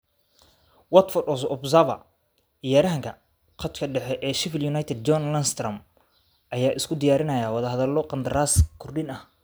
(Watford Observer) Ciyaaryahanka khadka dhexe ee Sheffield United John Lundstram ayaa isku diyaarinaya wadahadalo qandaraas kordhin ah.